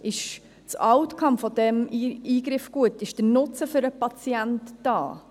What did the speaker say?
Ist der Outcome dieses Eingriffes gut, ist der Nutzen für den Patienten da?